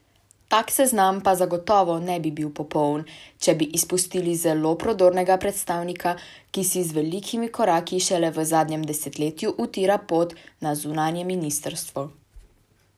Tak seznam pa zagotovo ne bi bil popoln, če bi izpustili zelo prodornega predstavnika, ki si z velikimi koraki šele v zadnjem desetletju utira pot na zunanje ministrstvo.